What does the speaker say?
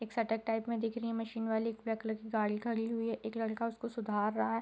एक shutter type में दिख रही है मशीन वाली ब्लैक कलर की गाड़ी खड़ी हुई है एक लड़का उसको सुधार रहा है।